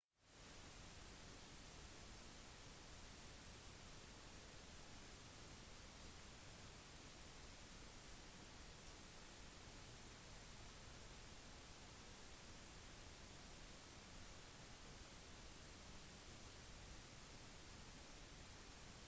et av de essensielle prinsippene for kristendommen er at rikdom skal benyttes til å forminske smerte og fattigdom og det er derfor pengemidlene til kirken er der